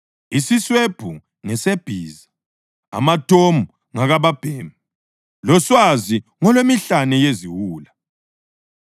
Isiswebhu ngesebhiza, amatomu ngakababhemi, loswazi ngolwemihlane yeziwula!